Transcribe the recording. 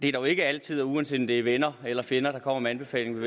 er dog ikke altid uanset om det er venner eller fjender der kommer med anbefalingerne